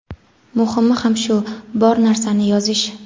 Muhimi ham shu – bor narsani yozish.